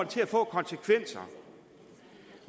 til at få af konsekvenser